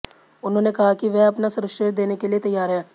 उन्होंने कहा कि वह अपना सर्वश्रेष्ठ देने के लिए तैयार है